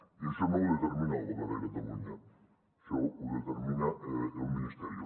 i això no ho determina el govern de catalunya això ho de·termina el ministerio